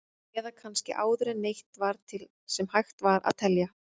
Eða kannski áður en neitt var til sem hægt var að telja?